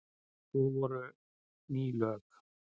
Svo voru ný lög.